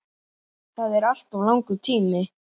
Það er alltof langur tími.